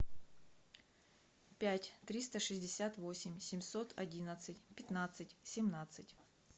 пять триста шестьдесят восемь семьсот одиннадцать пятнадцать семнадцать